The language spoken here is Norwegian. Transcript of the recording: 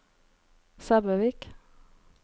Sæbøvik